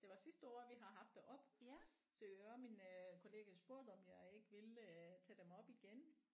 Det var sidste år vi har haft det oppe så og min kollega spurgte om jeg ikke ville tage dem op igen